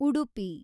Udupi